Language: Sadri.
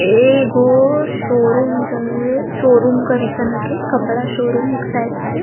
एगो शोरूम जे शोरूम करिसन ह के कपड़ा शोरूम हिक शायद से--